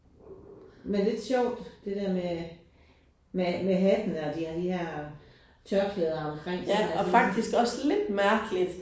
Men lidt sjovt det der med med med hattene og de har de her tørklæder omkring sådan ik